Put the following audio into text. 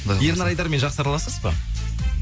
ернар айдармен жақсы араласыз ба